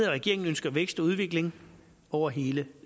regeringen ønsker vækst og udvikling over hele